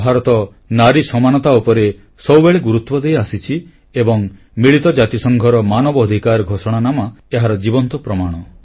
ଭାରତ ନାରୀ ସମାନତା ଉପରେ ସବୁବେଳେ ଗୁରୁତ୍ୱ ଦେଇଆସିଛି ଏବଂ ମିଳିତ ଜାତିସଂଘର ମାନବ ଅଧିକାର ଘୋଷଣାନାମା ଏହାର ଜୀବନ୍ତ ପ୍ରମାଣ